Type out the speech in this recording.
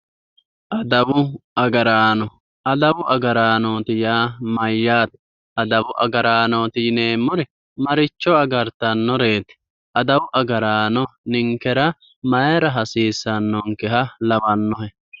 Adawu agaraano, adawu agaraanooti yaa mayyaate? Adawu agaraanooti yineemmori maricho agartannoreeti? Adawu agaraano ninkera mayiira hasiissannonkeha lawannohe?